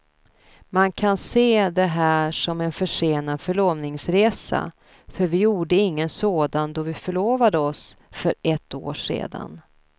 Man kan se det här som en försenad förlovningsresa för vi gjorde ingen sådan då vi förlovade oss för ett år sedan.